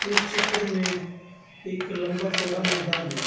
इस चित्र में एक लंबा चौड़ा मैदान है।